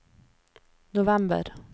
november